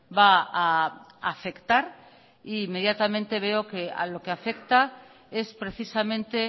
va a afectar e inmediatamente veo que a lo que afecta es precisamente